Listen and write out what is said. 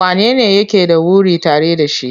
Wanene yake da wuri tare da shi?